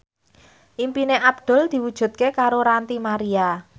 impine Abdul diwujudke karo Ranty Maria